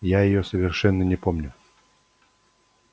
я её совершенно не помню